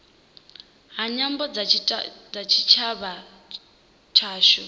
ha nyambo kha tshitshavha tshashu